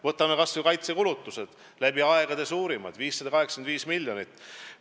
Võtame kas või kaitsekulutused – läbi aegade suurimad, 585 miljonit.